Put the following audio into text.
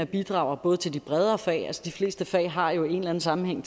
bidrager til de bredere fag altså de fleste fag har jo en eller anden sammenhæng